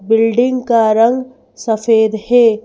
Building का रंग सफेद है ।